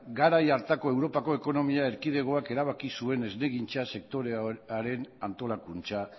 garai hartako europako ekonomia erkidegoak erabaki zuen esnegintza sektorearen antolakuntza